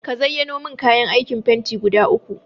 Ka zayyano min kayan aikin fenti guda uku.